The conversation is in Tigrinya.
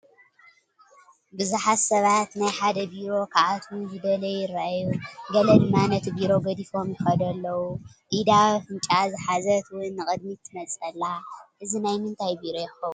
ብዙሓት ሰባት ናይ ሓደ ቢሮ ክኣትው ዝደለዩ ይራኣዩ፡፡ ገለ ድማ ነቲ ቢሮ ገዲፎም ይኸዱ ኣለው፡፡ ኢዳ ኣብ ኣፍንጭኣ ዝሓዘት ውን ንቕድሚት ትመፅእ ኣላ፡፡ እዚ ናይ ምንታይ ቢሮ ይኸውን?